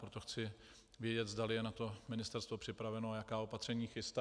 Proto chci vědět, zdali je na to Ministerstvo připraveno a jaká opatření chystá.